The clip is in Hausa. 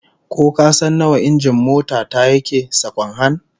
Ko kasan nawa injin mota ta yake, sakwan-han?